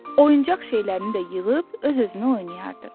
Oyuncaq şeylərini də yığıb öz-özünə oynayardı.